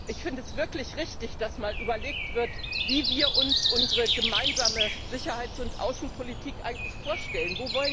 Ich finde es wirklich richtig, dass mal überlegt wird, wie wir uns unsere gemeinsame Sicherheits und Außenpolitik eigentlich vorstellen.